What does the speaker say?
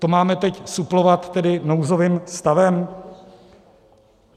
To máme teď suplovat tedy nouzovým stavem?